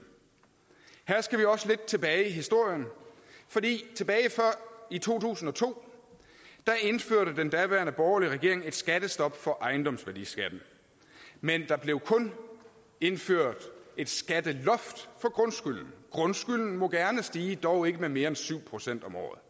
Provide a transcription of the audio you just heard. her skal vi også lidt tilbage i historien for tilbage i to tusind og to indførte den daværende borgerlige regering et skattestop for ejendomsværdiskatten men der blev kun indført et skatteloft for grundskylden grundskylden må gerne stige dog ikke med mere end syv procent om året